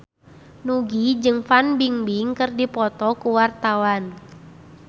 Nugie jeung Fan Bingbing keur dipoto ku wartawan